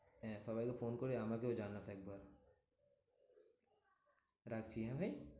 হ্যাঁ সবাইকে ফোন করে আমাকেও জানাস একবার। রাখছি হ্যাঁ ভাই?